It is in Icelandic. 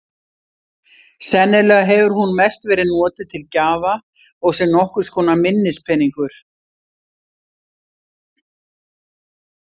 Sennilega hefur hún mest verið notuð til gjafa og sem nokkurs konar minnispeningur.